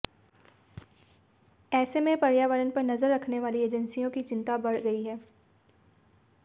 ऐसे में पर्यावरण पर नजर रखने वाली एजेंसियों की चिंता बढ़ गई है